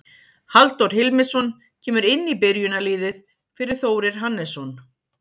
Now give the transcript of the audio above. Halldór Hilmisson kemur inn í byrjunarliðið fyrir Þórir Hannesson.